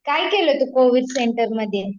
काय केलं तू कोविड सेंटर मध्ये